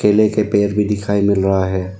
केले के पेड़ भी दिखाई मिल रहा है।